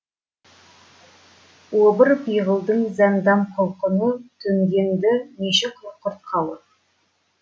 обыр пиғылдың зәндам құлқыны төнген ді неше құртқалы